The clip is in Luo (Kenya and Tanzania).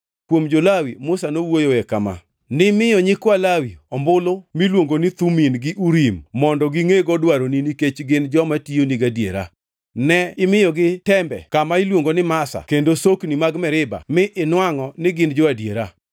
Kuom jo-Lawi, Musa nowuoyoe kama: “Nimiyo nyikwa Lawi ombulu miluongo ni Thumim gi Urim mondo gingʼego dwaroni nikech gin joma tiyoni gadiera. Ne imiyogi tembe kama iluongo ni Masa kendo sokni mag Meriba mi inwangʼo ni gin jo-adiera.